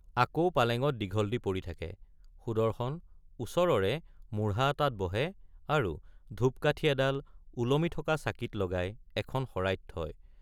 আকৌ পালেঙত দীঘল দি পৰি থাকে—সুদৰ্শন ওচৰৰে মূঢ়া এটাত বহে আৰু ধূপ কাঠি এডাল ওলমি থকা চাকিত লগাই এখন শৰাইত থয়।